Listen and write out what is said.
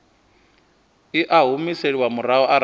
i a humiselwa murahu arali